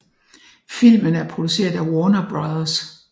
Filmen er produceret af Warner Bros